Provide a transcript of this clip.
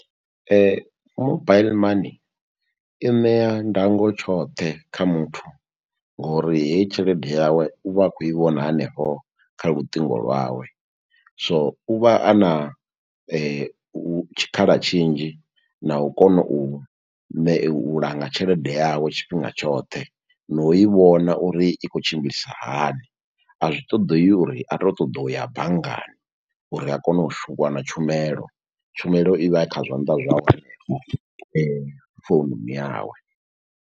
Mobaiḽi money i ṋea ndango tshoṱhe kha muthu ngori hei tshelede yawe u vha a khou i vhona hanefho kha luṱingo lwawe, so u vha a na tshikhala tshinzhi na u kona u ne u langa tshelede yawe tshifhinga tshoṱhe na u i vhona uri i khou tshimbilisa hani. A zwi ṱoḓei uri a tou ṱoḓa u ya banngani uri a kone u wana tshumelo, tshumelo ivha i kha zwanḓa zwawe foununi yawe.